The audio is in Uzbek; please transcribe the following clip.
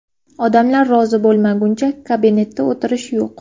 Odamlar rozi bo‘lmaguncha kabinetda o‘tirish yo‘q!